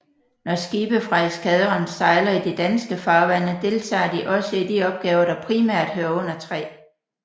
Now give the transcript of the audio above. Når skibe fra eskadren sejler i de danske farvande deltager de også i de opgaver der primært hører under 3